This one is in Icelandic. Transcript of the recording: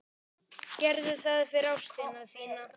Gerðu það fyrir ástina þína.